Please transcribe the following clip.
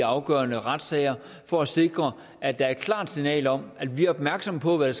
afgørende retssager for at sikre at der er et klart signal om at vi er opmærksomme på hvad